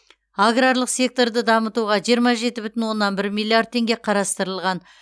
аграрлық секторды дамытуға жиырма жеті бүтін оннан бір миллиард теңге қарастырылған